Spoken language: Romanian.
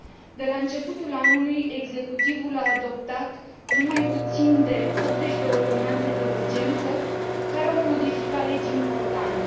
De la începutul anului, Executivul a adoptat nu mai puțin de 80 de ordonanțe de urgență, care au modificat legi importante.